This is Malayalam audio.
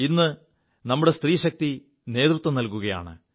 ഇ് നമ്മുടെ സ്ത്രീശക്തി നേതൃത്വം നൽകുകയാണ്